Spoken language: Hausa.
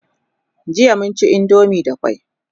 jiya mun ci indomie da kwai